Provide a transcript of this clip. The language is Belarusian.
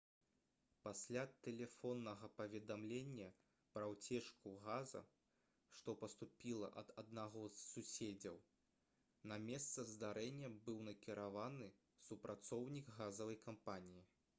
пасля тэлефоннага паведамлення пра ўцечку газу што паступіла ад аднаго з суседзяў на месца здарэння быў накіраваны супрацоўнік газавай кампаніі